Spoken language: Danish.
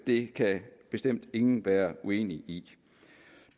det kan bestemt ingen være uenig i